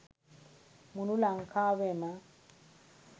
මුළු ලංකාවෙම.